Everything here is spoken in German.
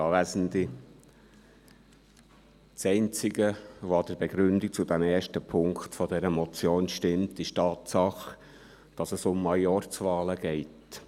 Das Einzige, was an der Begründung des ersten Punkts dieser Motion stimmt, ist die Tatsache, dass es um Majorzwahlen geht.